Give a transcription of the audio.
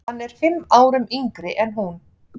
Hann er fimm árum yngri en hún.